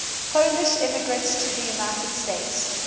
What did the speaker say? polish immigrants to the united states